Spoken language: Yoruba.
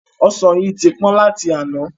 Ọsan yìí tí pọ́n láti àná.